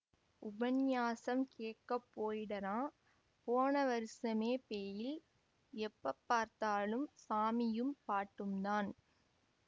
உபந்நியாசம் கேக்கப் போயிடறான்போன வருசமே பெயில்எப்பப் பார்த்தாலும் சாமியும் பாட்டும்தான்